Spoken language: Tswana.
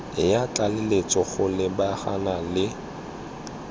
ya tlaleletso go lebagana le